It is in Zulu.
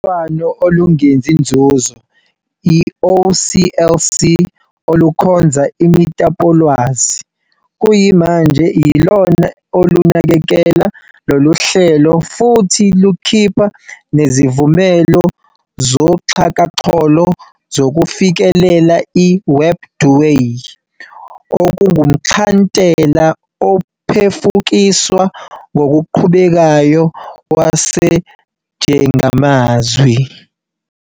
UBambiswano olungenzi nzuzo, i-OCLC olukhonza imitapolwazi, kuyimanje yilona olunakekela loluhlelo futhi lukhipha nezivumelo zoxhakaxholo zokufikelela i-WebDewey, okungumxhantela ophefukiswa ngokuqhubekayo wesijengamazwi.